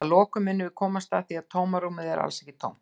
Að lokum munum við komast að því að tómarúmið er alls ekki tómt!